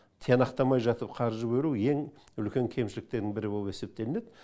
тиянақтамай жатып қаржы бөлу ең үлкен кемшіліктерінің бірі болып есептелінеді